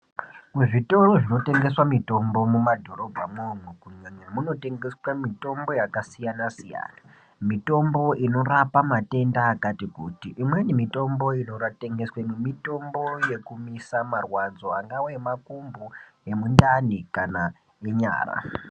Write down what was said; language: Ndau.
Muzvitoro zvinotengeswa mitombo mumadhorobha mwomwo kunyanya munotengeswa mitombo yakasiyana-siyana. Mitombo inorapa matenda akati kuti imweni mitombo inotengeswemwo mitombo yekumisa marwadzo angava emakumbo, emundani kana enyara.